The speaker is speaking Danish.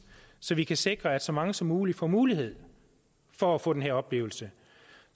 så vi kan sikre at så mange som muligt får mulighed for at få den her oplevelse